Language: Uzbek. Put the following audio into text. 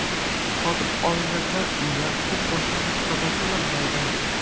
Sotib olinadigan uylar uchun boshlang‘ich badal to‘lanmaydi.